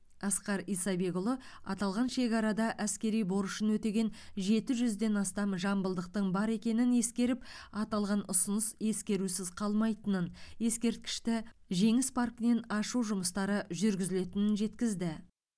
асқар исабекұлы аталған шекарада әскери борышын өтеген жеті жүзден астам жамбылдықтың бар екенін ескеріп аталған ұсыныс ескерусіз қалмайтынын ескерткішті жеңіс паркінен ашу жұмыстары жүргізілетін жеткізді